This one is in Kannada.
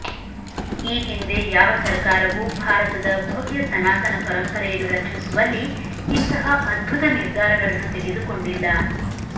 ಈ ಹಿಂದೆ ಯಾವ ಸರಕಾರವೂ ಭಾರತದ ಭವ್ಯ ಸನಾತನ ಪರಂಪರೆಯನ್ನು ರಕ್ಷಿಸುವಲ್ಲಿ ಇಂತಹ ಅದ್ಭುತ ನಿರ್ಧಾರಗಳನ್ನು ತೆಗೆದುಕೊಂಡಿಲ್ಲ